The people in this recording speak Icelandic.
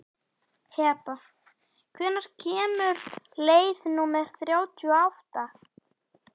Heba, hvenær kemur leið númer þrjátíu og átta?